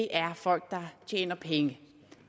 er folk der tjener penge